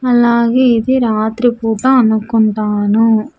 అలాగే ఇది రాత్రి పూట అనుక్కుంటాను.